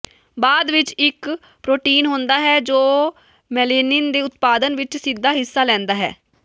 ਬਾਅਦ ਵਿਚ ਇਕ ਪ੍ਰੋਟੀਨ ਹੁੰਦਾ ਹੈ ਜੋ ਮੇਲੇਨਿਨ ਦੇ ਉਤਪਾਦਨ ਵਿਚ ਸਿੱਧਾ ਹਿੱਸਾ ਲੈਂਦਾ ਹੈ